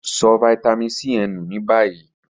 So vitamin C ye nu ni bayi.